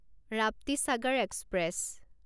Raptisagar express